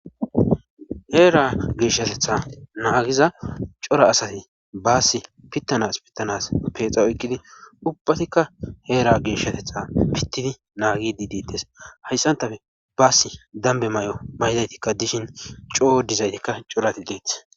Heera geeshatetha naagiza cora asati baasi pittanas pittanas peexa oykqidi ubbatikka heera geeshatetha pittidi naagi diidides hayssantafe baasi dambe may7o maydaytikka dishin coo dizaytikka corati deethih